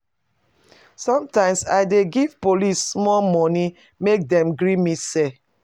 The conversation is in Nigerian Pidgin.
Sometimes I dey give police small moni make dem gree me sell.